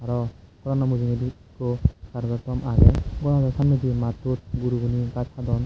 araw gorano mujugedi ekko carentto tom age gorano samnedi mattot gurugune gaj hadon.